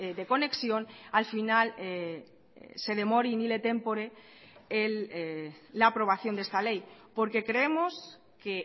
de conexión al final se demore la aprobación de esta ley porque creemos que